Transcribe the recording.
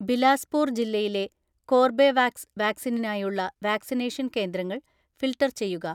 ബിലാസ്പൂർ ജില്ലയിലെ കോർബെവാക്സ് വാക്‌സിനിനായുള്ള വാക്‌സിനേഷൻ കേന്ദ്രങ്ങൾ ഫിൽട്ടർ ചെയ്യുക.